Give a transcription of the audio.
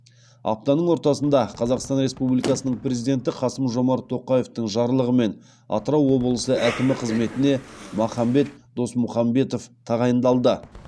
аптаның ортасында қазақстан республикасының президенті қасым жомарт тоқаевтың жарлығымен атырау облысы әкімі қызметіне махамбет досмұхамбетов тағайындалды